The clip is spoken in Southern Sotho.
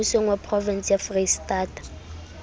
mmusong wa provense ya freistata